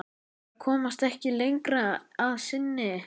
Þær komast ekki lengra að sinni.